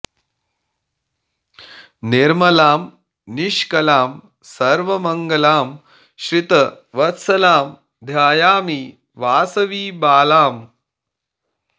निर्मलां निष्कलां सर्वमङ्गलां श्रित वत्सलां ध्यायामि वासवि बालाम्